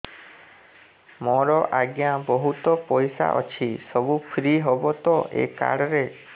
ମୋର ଆଜ୍ଞା ବହୁତ ପଇସା ଅଛି ସବୁ ଫ୍ରି ହବ ତ ଏ କାର୍ଡ ରେ